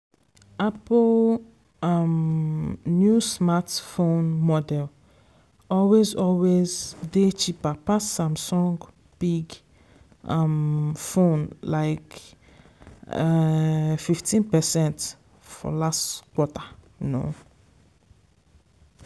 apple um new smartphone model always always dey cheaper pass samsung big um fone like um 15 percent for last quater.